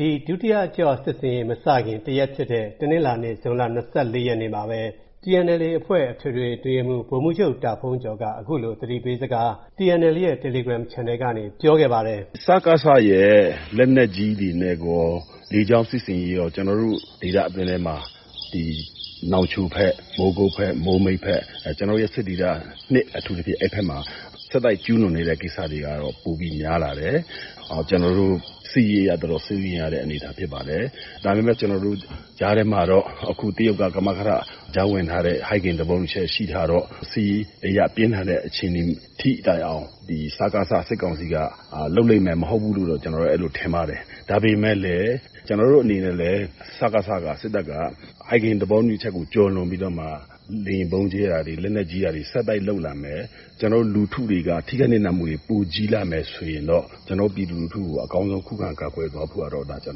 ဒီ ဒုတိယအကျော့ စစ်ဆင်ရေးမစခင် တရက်ဖြစ်တဲ့ တနင်္လာနေ့ ဇွန်လ ၂၄ ရက်မှာပဲ၊ TNLA အဖွဲ့ အထွေထွေ အတွင်းရေးမှူး ဗိုလ်မှူးချုပ် တာဘုန်းကျော်က TNLA ရဲ့ တယ်လီဂရမ်ချန်နယ်ကနေ သတိပေးစကားကို အခုလို ပြောခဲ့ပါတယ်။ "စကစရဲ့ လက်နက်ကြီးတွေနဲ့ကော လေကြောင်းစစ်ဆင်ရေးကော ကျနော်တို့ဒေသအတွင်းထဲမှာ နောင်ချိုဘက်၊ မိုးမိတ်ဘက်၊ မိုးကုတ်ဘက်- ကျနော်တို့ရဲ့စစ်ဒေသ အထူးသဖြင့် အဲဒီဘက်မှာ ဆက်တိုက်ကျူးလွန်နေတဲ့ကိစ္စတွေကတော့ ပိုပြီး များလာတယ်။ စစ်ရေးအရ တော်တော် စိုးရိမ်ရတဲ့အနေအထားဖြစ်ပါတယ်။ ဒါပေမဲ့ ကြားထဲမှာတော့ အခု တရုတ်က ကမကထ ကြားဝင်ထားတဲ့ ဟိုင်ဂင်သဘောတူညီချက်ရှိထားတော့ စစ်ရေးအရ ပြင်းထန်တဲ့အခြေအနေထိတိုင်အောင် စကစ စစ်ကောင်စီက လုပ်လိမ့်မယ် မဟုတ်ဘူးလို့တော့ ကျနော်ထင်ပါတယ်။ ဒါပေမဲ့လည်း ကျနော်တို့အနေနဲ့လည်း စကစ-က ၊ စစ်တပ်က ဟိုင်ဂင်သဘောတူညီချက်ကိုကျော်လွန်ပြီးတော့မှ လေယာဥ်ဗုံးကြဲတာတွေ၊ လက်နက်ကြီးပစ်တာတွေ ဆက်တိုက်လုပ်လာမယ်၊ လူထုတွေက ထိခိုက်နစ်နာမှုတွေ ပိုကြီးလာမယ်ဆိုရင်တော့ ပြည်သူလူထု ကို အကောင်းဆုံး ခုခံကာကွယ်သွားဖို့ကတော့ ကျ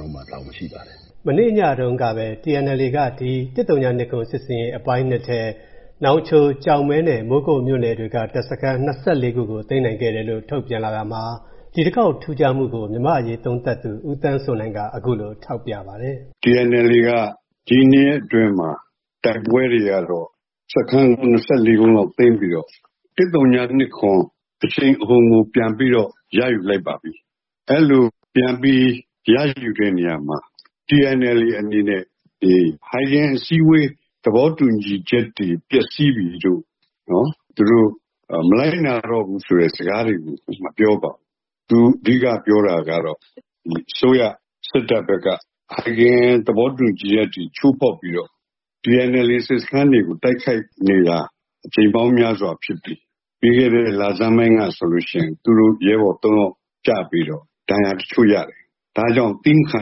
နော်တို့မှာ တာဝန်ရှိပါတယ်။" မနေ့ညတုံးကပဲ TNLA က ဒီ ၁၀၂၇ စစ်ဆင်ရေးအပိုင်း ထဲ နောင်ချို၊ ကျောက်မဲ နဲ့ မိုးကုတ်မြို့နယ်တွေက တပ်စခန်း ၂၄ ခုကို သိမ်းနိုင်ခဲ့တယ်လို့ ထုတ်ပြန်လာတာမှာ ဒီတခေါက် ထူးခြားမှုကို မြန်မာ့အရေးသုံးသပ်သူ ဦးသန်းစိုးနိုင်က အခုလို ထောက်ပြပါတယ်။ "TNLA က ဒီနှစ်အတွင်းမှာ တိုက်ပွဲတွေကတော့ စခန်း ၂၄ လုံးလောက်သိမ်းပြီးတော့ ၁၀၂၇ အရှိန်အဟုန်ကို ပြန်ပြီးတော့ ရယူလိုက်ပါပြီ။ အဲလိုပြန်ပြီး ရယူတဲ့နေရာမှာ TNLA အနေနဲ့ ဟိုင်ဂင်အစည်းအဝေး သဘောတူညီချက်တွေ ပျက်စီးပြီလို့ - သူတို့ မလိုက်နာတော့ဘူးဆိုတဲ့စကားတွေကို မပြောပါဘူး။ သူအဓိကပြောတာက အစိုးရ စစ်တပ်ဘက်က ဟိုင်ဂင်သဘောတူညီချက်အထိ ချိုးဖောက်ပြီးတော့ TNLA စစ်စခန်းတွေကို တိုက်ခိုက်နေတာ အကြိမ်ပေါင်းများစွာဖြစ်ပြီး ပြီးခဲ့တဲ့လဆန်းပိုင်းကဆိုလို့ရှိရင် သူတို့ ရဲဘော်သုံးယောက်ကျပြီးတော့ ဒဏ်ရာတချို့ရတယ်။ ဒါကြောင့် သည်းမခံ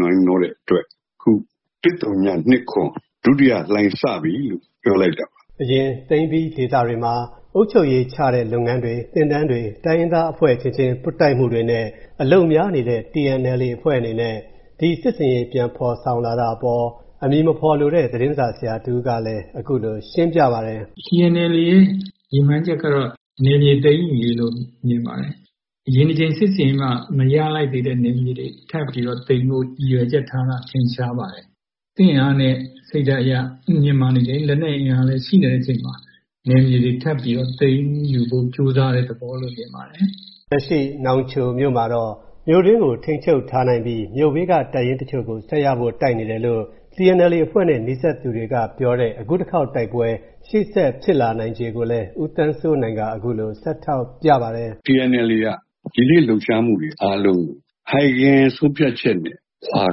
နိုင်တော့တဲ့အတွက် ၁၀၂၇ ဒုတိယလှိုင်းစပြီ-လို့ ပြောလိုက်တာပါ။" အရင် သိမ်းပြီးထားတဲ့ဒေသတွေမှာ အုပ်ချုပ်ရေးချတဲ့လုပ်ငန်းတွေ၊ သင်တန်းတွေ၊ တိုင်းရင်သားအဖွဲ့အချင်းချင်း ပွတ်တိုက်မှုတွေနဲ့ အလုပ်များနေခဲ့တဲ့ TNLA အဖွဲ့အနေနဲ့ ဒီ စစ်ဆင်ရေး ပြန်ဖော်ဆောင်လာတာအပေါ် အမည်မဖော်လိုတဲ့ သတင်းစာဆရာတဦးကလည်း အခုလို ရှင်းပြပါတယ်။ "TNLA ရဲ့ရည်မှန်းချက်က နယ်မြေသိမ်းယူရေးလို့ မြင်ပါတယ်။ အရင်စစ်ဆင်ရေးမှာ မရလိုက်သေးတဲ့နယ်မြေတွေကို ထပ်ပြီးတော့သိမ်းဖို့ ရည်ရွယ်ချက်ထားတာ ထင်ရှားပါတယ်။ စစ်အင်အားနဲ့စိတ်ဓာတ်အရ မြင့်မားနေတယ်၊ လက်နက်အင်အားလည်းရှိနေတဲ့အချိန်မှာ နယ်မြေတွေထပ်ပြီးတော့ သိမ်းယူဖို့ကြိုးစားတဲ့ သဘောလို့မြင်ပါတယ်။" လက်ရှိ နောင်ချိုမှာတော့ မြို့တွင်းကို ထိန်းချုပ်ထားနိုင်ပြီး မြို့ဘေးက တပ်ရင်းတချို့ကို ဆက်ရဖို့တိုက်နေတယ်လို့ TNLA အဖွဲ့နဲ့နီးစပ်သူတွေကပြောပါတယ်။ အခုတခေါက် တိုက်ပွဲ၊ ရှေ့ဆက်ဖြစ်လာနိုင်ခြေကိုလည်း ဦးသန်းစိုးနိုင်က အခုလို ဆက်ထောက်ပြပါတယ်။ "TNLA က ယနေ့လှုပ်ရှားမှုတွေ အားလုံးကို ဟိုင်ဂင် ဆုံးဖြတ်ချက်နဲ့ခွါ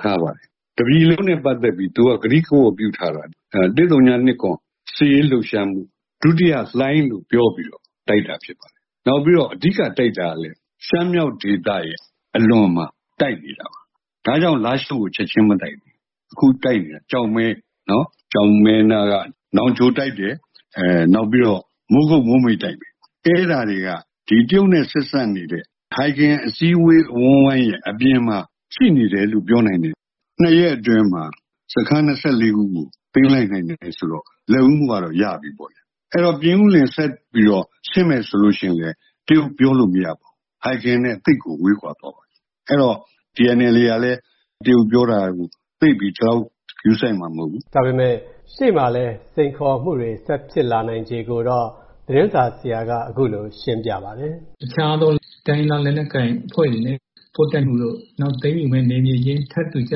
ထားပါတယ်။ တပြည်လုံးနဲ့ပတ်သက်ပြီး သူက ကတိကဝတ်ပြုထားပါတယ်။ ၁၀၂၇ စစ်ရေးလှုပ်ရှားမှု ဒုတိယလှိုင်း- လို့ ပြောပြီးတော့ တိုက်တာဖြစ်ပါတယ်။ နောက်ပြီးတော့ အဓိကတိုက်တာကလည်း ရှမ်းမြောက်ဒေသရဲ့အလွန်မှာတိုက်တယ်။ ဒါကြောင့် လားရှိုးကိုချက်ခြင်းမတိုက်တာ။ အခုတိုက်နေတာ ကျောက်မဲ၊ ကျောက်မဲနားက နောင်ချိုင်တိုက်တယ်၊ နောက်ပြီးတော့ မိုးကုတ်၊ မိုးမိတ်တိုက်မယ်။ အဲဒါတွေက တရုတ်နဲ့ဆက်စပ်နေတဲ့ ဟိုင်ဂင်အစည်းအဝေးအဝန်းအဝိုင်းရဲ့အပြင်မှာ ရှိနေတယ်လို့ ပြောနိုင်တယ်။ နှစ်ရက်အတွင်းမှာ စခန်း ၂၄ ခုကို သိမ်းလိုက်နိုင်တယ်ဆိုတော့ လက်ဦးမှုကတော့ ရပြီပေါ့ဗျာ။ အဲဒီတော့ ပြင်ဦးလွင်ကိုဆက်ပြီးတော့ဆင်းမယ်ဆိုလို့ရှိရင်လည်း တရုတ်ပြောလို့မရဘူး။ ဟိုင်ဂင်နဲ့သိပ်ကို ဝေးကွာသွားမှာ။ အဲဒီတော့ TNLA ကလည်း တရုတ်ပြောတာကို သိပ်ပြီး ဂရုစိုက်မှာမဟုတ်ဘူး။" ဒါပေမဲ့ ရှေ့မှာရှိနေတဲ့ စိန်ခေါ်မှုတွေနဲ့ ဆက်ဖြစ်လာနိုင်ခြေတွေကိုတော့ သတင်းစာဆရာက အခုလို ဆက်ရှင်းပြပါတယ်။ "တခြားသော တိုင်းရင်းသားလက်နက်ကိုင်အဖွဲ့တွေနဲ့ပွတ်တိုက်မှုတို့၊ နောက် သိမ်းယူမယ့်နယ်မြေချင်းထပ်ထူကျ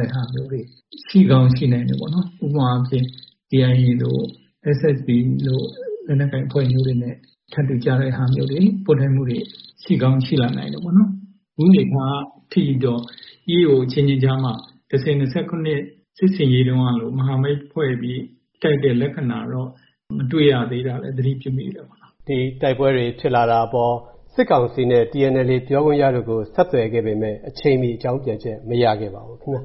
တဲ့ဟာမျိုးတွေ ရှိကောင်းရှိနိုင်တယ်ပေါ့နော်။ ဥပမာအားဖြင့် KIA တို့၊ SSPP တို့လို လက်နက်ကိုင်အဖွဲ့မျိုးတွေနဲ့ထပ်တူကျတဲ့ဟာမျိုးတွေ၊ ပွတ်တိုက်မှုတွေ ရှိကောင်းရှိလာနိုင်တယ်ပေါ့နော်။ အခုနေမှာ ....EAO အချင်းချင်းကြားမှာ ၁၀၂၇ စစ်ဆင်ရေးတုန်းကလို မဟာမိတ်ဖွဲ့ပြီး တိုက်တဲ့လက္ခဏာတော့ မတွေ့ရသေးတာလည်း သတိပြုမိတယ်ပေါ့နော်။" ဒီ တိုက်ပွဲတွေ ဖြစ်လာတာအပေါ် စစ်ကောင်စီ နဲ့ TNLA ပြောခွင့်ရတို့ကို ဆက်သွယ်ခဲ့ပေမဲ့ အချိန်မီ အကြောင်းပြန်ချက် မရခဲ့ပါဘူး ခင်ဗျာ။